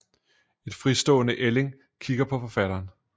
En fritstående ælling kigger på forfatteren